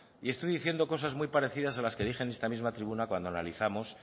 y estoy diciendo cosas muy parecidas a las que dije en esta misma tribuna cuando analizamos